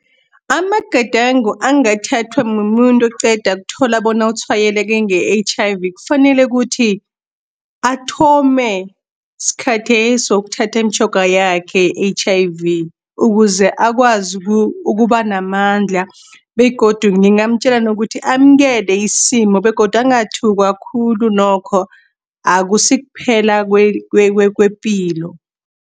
Amagadango angathathwa mumuntu oqeda ukuthola bona utshwayeleke nge-H_I_V fanele kuthi, athome skhatheso ukuthatha imitjhoga yakhe ye-H_I-V. Ukuze akwazi ukuba namandla, begodu ngingamtjela nokuthi amkele isimo, begodu angathukwa khulu nokho, akusikuphela kwepilo.